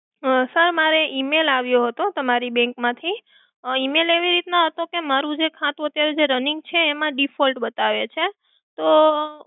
sir મારે Email આવ્યો હતો તમારી bank માંથી Email એવી રીતનો હતો કે મારુ ખાતું અત્યારે જે running છે એમાં default બતાવે છે તો